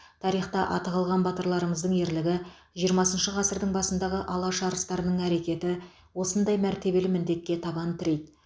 тарихта аты қалған батырларымыздың ерлігі жиырмасыншы ғасырдың басындағы алаш арыстарының әрекеті осындай мәртебелі міндетке табан тірейді